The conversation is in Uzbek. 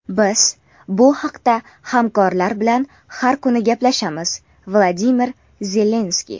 Biz bu haqda hamkorlar bilan har kuni gaplashamiz - Vladimir Zelenskiy.